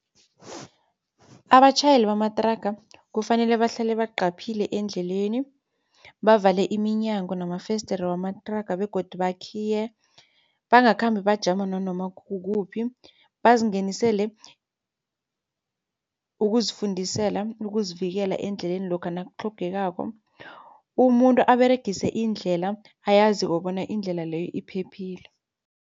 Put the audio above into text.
Abatjhayeli bamathraga kufanele bahlale baqaphile endleleni, bavale iminyango namafesideri wamathraga begodu bakhiye. Bangakhambi bajama nanoma kukuphi bazingenisele ukuzifundisela ukuzivikela endleleni lokha nakutlhogekako. Umuntu aberegise indlela ayaziko bona indlela leyo iphephile.